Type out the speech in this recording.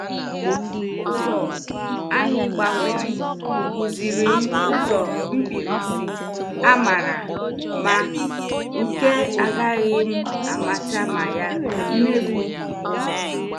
Ụzọ anyị gbanwere kụziri m ụzọ mkpirisi a mara mma nke agaghị m amata ma ya nefughị ụzọ.